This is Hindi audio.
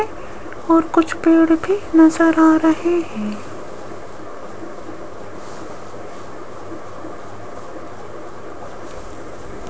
और कुछ पेड़ भी नजर आ रहे हैं।